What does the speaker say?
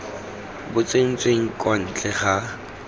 bo tsentsweng kwa ntle ga